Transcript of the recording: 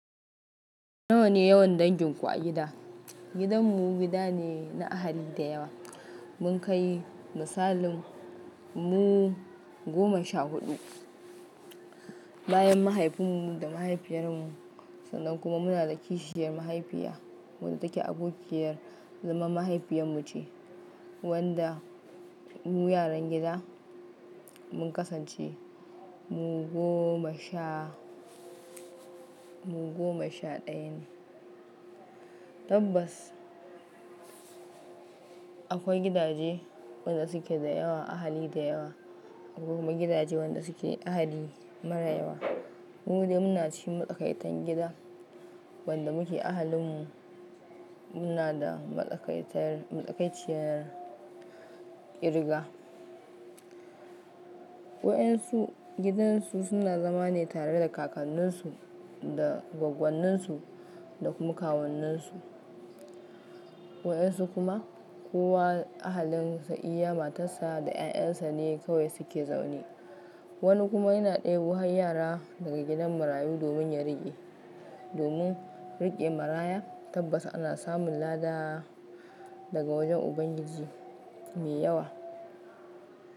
Nawa ne yawan danginku a gida? Gidan mu gida ne na ahali da yawa. Mun kai misalin mu goma sha huɗu. Bayan mahaifinmu da mahaifiyar mu sannan kuma muna da kishiyar mahaifiya wadda take abokiyar zaman mahaifiyar mu ce wadda mu yaran gida mun kasance mu goma sha ɗaya ne. Tabbas akwai gidaje wanda suke da yawa ahali da yawa akwai kuma gidaje wanda suke ahali mara yawa. Mu dai muna cikin matsakaitan gida wanda muke ahalin mu muna da matsakaiciyar ƙirga. Waɗansu gidansu suna zama ne tare da kakanninsu da goggonninsu da kuma kawunninsu. Waɗansu kuma kowa ahalinsa, iya matarsa da ƴaƴansa ne kawai suke zaune. Wani kuma yana ɗebi wani yara daga gidan marayu domin ya riƙe. Domin riƙe maraya tabbas ana samun lada daga wajen Ubangiji mai yawa.